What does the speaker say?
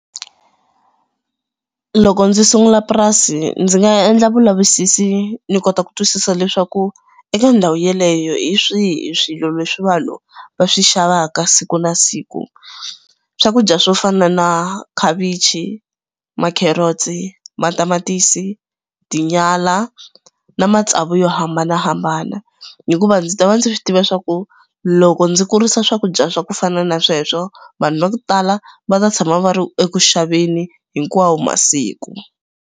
Loko ndzi sungula purasi ndzi nga endla vulavisisi ni kota ku twisisa leswaku eka ndhawu yaleyo hi swihi swilo leswi va lowu va swi xavaka siku na siku. Swakudya swo fana na khavichi, ma-carrots, matamatisi, tinyala na matsavu yo hambanahambana hikuva ndzi ta va ndzi swi tiva swa ku loko ndzi kurisa swakudya swa ku fana na sweswo vanhu va ku tala va ta tshama va ri eku xaveni hinkwawo masiku.